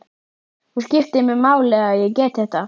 Það skiptir mig máli að ég get þetta.